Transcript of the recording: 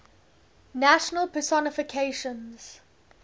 national personifications